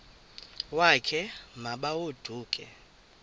wakhe ma baoduke